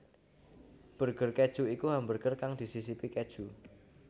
Burger keju iku hamburger kang disisipi keju